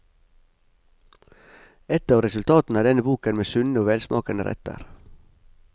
Et av resultatene er denne boken med sunne og velsmakende retter.